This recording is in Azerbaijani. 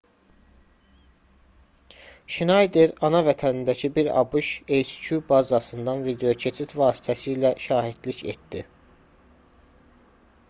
şnayder ana vətənindəki bir abş hq bazasından videokeçid vasitəsilə şahidlik etdi